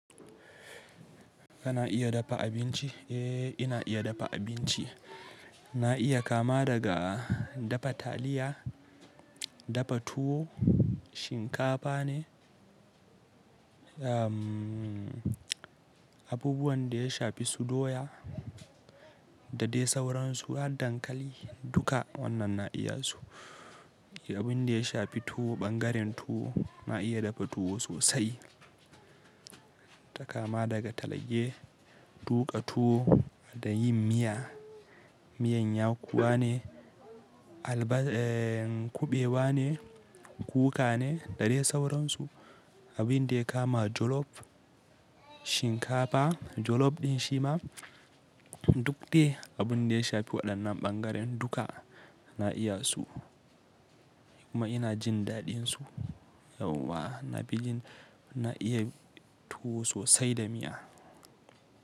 Kana iya dafa abinci? Eh, ina iya dafa abinci. Na iya kama daga dafa taliya, dafa tuwo, shinkafa ne, abubuwan da ya shafi su doya da dai sauransu har dankali duka wannan na iya su. Abin da ya shafi tuwo, ɓangaren tuwo na iya dafa tuwo sosai. Ta kama daga talge, tuƙa tuwo da yin miya, miyan yakuwa ne, alba kuɓewa ne, kuka ne da dai sauransu. Abin da ya kama jolof, shinkafa, jolof ɗin shi ma duk dai abun da ya shafi waɗannan ɓangaren duka na iya su. Kuma ina jin daɗinsu yauwa. Na bi jin na iya tuwo sosai da miya.